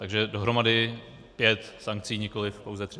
Takže dohromady pět sankcí, nikoliv pouze tři.